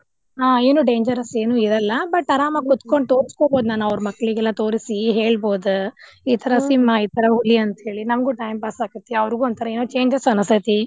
ಹಾ ಏನು dangerous ಏನು ಇರಲ್ಲಾ but ಆರಾಮಾಗಿ ಕೂತ್ಕೊಂಡ್ ತೋರಿಸ್ಕೊಬೋದು ಅವ್ರ್ ಮಕ್ಳಲ್ಲಿಗೆಳ ತೋರಿಸಿ ಹೇಳ್ಬೋದ್ ಈಥರಾ ಸಿಂಹಾ ಈಥರಾ ಹುಲಿ ಅಂತೆಳಿ ನಮಗೂ time pass ಆಕ್ಕೆತಿ ಅವ್ರ್ಗು ಒಂಥರಾ ಏನೋ changes ಅನಿಸ್ತೇತಿ.